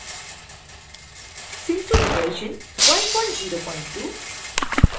synfig version 102